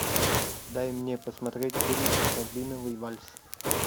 дай мне посмотреть фильм рябиновый вальс